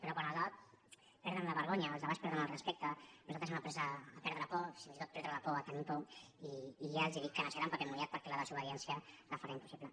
però quan els de dalt perden la vergonya els de baix perden el respecte nosaltres hem après a perdre por fins i tot a perdre la por a tenir por i ja els dic que naixerà amb paper mullat perquè la desobediència la farà impossible